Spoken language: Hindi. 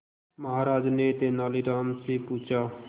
महाराज ने तेनालीराम से पूछा